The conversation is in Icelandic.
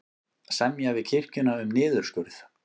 Semja við kirkjuna um niðurskurð